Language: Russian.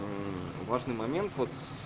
важный момент вот с